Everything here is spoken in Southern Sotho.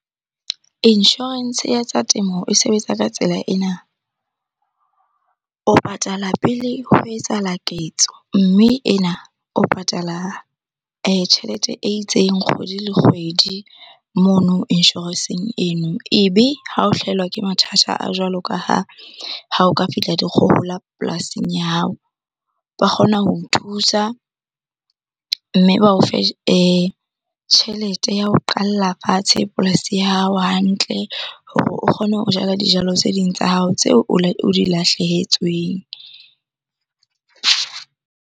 Insurance ya tsa temo e sebetsa ka tsela ena. O patala pele ho etsahala ketso mme ena o patala tjhelete itseng kgwedi le kgwedi mono insurance-eng eno. Ebe ha o hlahelwa ke mathata a jwalo ka ha o ka fihla dikgohola polasing ya hao, ba kgona ho thusa. Mme ba o fe tjhelete ya ho qala fatshe polasi ya hao hantle hore o kgone ho jala dijalo tse ding tsa hao tse o di lahlehetsweng.